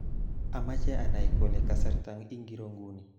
Amache anay kole kasarta ingiro nguni